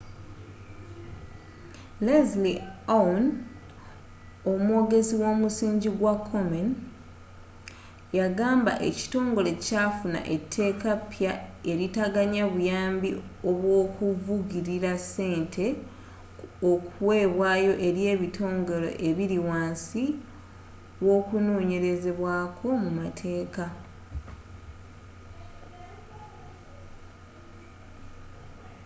leslie aun omwogezi womusingi gwa komen yagamba ekitongole kyafuna etteeka epya eritaganya buyambi obwokuvugilira ssente kuweebwayo eri ebitongole ebiri wansi w'okunonyerezebwaako mu mateeka